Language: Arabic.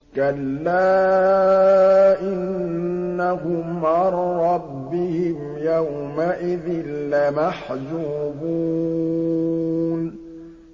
كَلَّا إِنَّهُمْ عَن رَّبِّهِمْ يَوْمَئِذٍ لَّمَحْجُوبُونَ